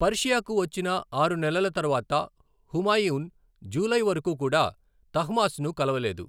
పర్షియాకు వచ్చిన ఆరు నెలల తర్వాత, హుమాయూన్ జూలై వరకు కూడా తహమాస్ప్ను కలవలేదు.